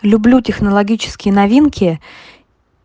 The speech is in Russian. люблю технологические новинки